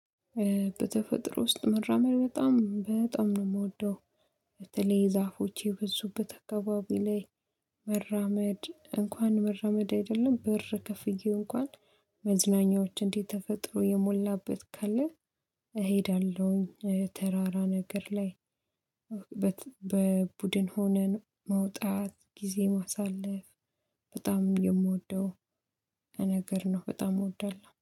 በተፈጥሮ ውስጥ መራመር በጣም በጣም ነው የምወደው። በተለይ ዛፎች የበዙበት አካባቢ ላይ መራመድ እንኳን መራመድ አይደለም ብር ከፍዬ እንኳን መዝናኛዎች እንዲህ ተፈጥሮ የሞላበት ካለ። እሄዳለሁኝ። ተራራ ነገር ላይ በቡድን ሆነን መውጣት ጊዜ ማሳለፍ በጣም የምወደው። ነገር ነው በጣም እወዳለሁ